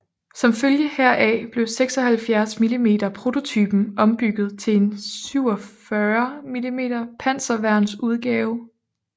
Som følge heraf blev 76 mm prototypen ombygget til en 47 mm panserværns udgave